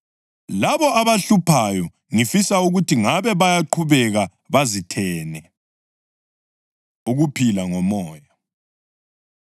Labo abahluphayo, ngifisa ukuthi ngabe bayaqhubeka bazithene! Ukuphila NgoMoya